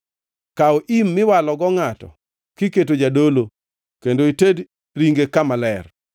“Kaw im miwalogo ngʼato kiketo jadolo kendo ited ringe kama ler.